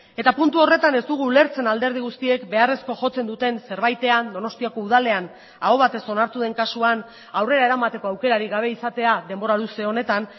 eta puntu horretan ez dugu ulertzen alderdi guztiek beharrezko jotzen duten zerbaitean donostiako udalean aho batez onartu den kasuan aurrera eramateko aukerarik gabe izatea denbora luze honetan